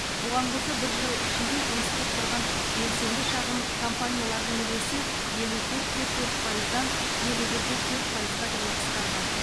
бұған қоса бір жыл ішінде жұмыс істеп тұрған белсенді шағын компаниялардың үлесі елу төрт те төрт пайыздан елу бір де төрт пайызға дейін қысқарған